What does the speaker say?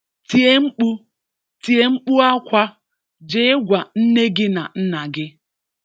Tie mkpu! Tie mkpu akwa! Jee gwa nne gị na nna gị!